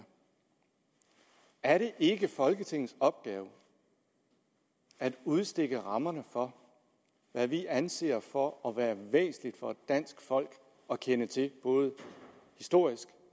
er er det ikke folketingets opgave at udstikke rammerne for hvad vi anser for at være væsentligt for danske folk at kende til både historisk